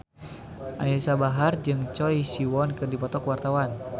Anisa Bahar jeung Choi Siwon keur dipoto ku wartawan